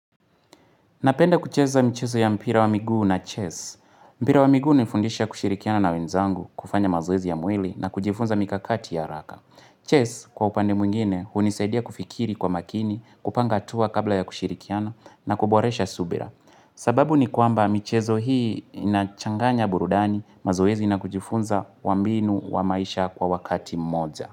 Napenda kucheza mchezo ya mpira wa miguu na chess. Mpira wa miguu hunifundisha kushirikiana na wenzangu kufanya mazoezi ya mwili na kujifunza mikakati ya haraka. Chess kwa upande mwingine hunisaidia kufikiri kwa makini, kupanga hatua kabla ya kushirikiana na kuboresha subira. Sababu ni kwamba michezo hii inachanganya burudani mazoezi na kujifunza wa mbinu wa maisha kwa wakati mmoja.